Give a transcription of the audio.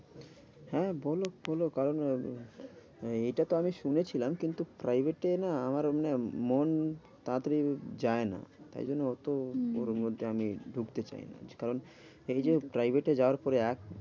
হ্যাঁ বোলো বোলো কারণ এইটা তো আমি শুনেছিলাম। কিন্তু private এ না আমার এমনি মন তাড়াতাড়ি যায় না। তাই জন্য অত হম ওর মধ্যে আমি ঢুকতে চাইনা। কারণ এই যে private এ যাওয়ার পরে এক